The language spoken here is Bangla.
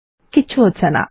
কিছু হচ্ছে না